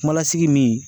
Kumalasigi min